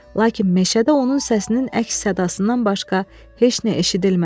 Lakin meşədə onun səsinin əks sadasından başqa heç nə eşidilmədi.